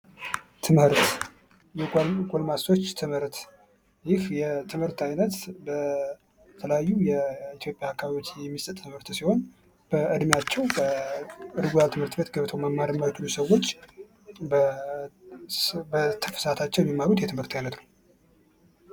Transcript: ትምህርት የጎልማሶች ትምህርት በተለያዩ የኢትዮጵያ አካባቢዎች የሚሰጥ ትምህርት ሲሆን በእድሜያቸው ትምህርት ቤት ገብተው መማር የማይችሉ የሚማሩበት ነው።